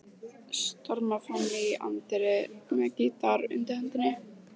Stormar fram í anddyrið með gítarinn undir hendinni.